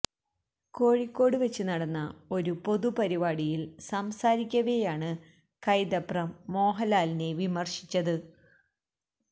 കോഴിക്കോട് വച്ച് നടന്ന ഒരു പൊതു പരിപാടിയില് സംസാരിക്കവെയാണ് കൈതപ്രം മോഹന്ലാലിനെ വിമര്ശിച്ചത്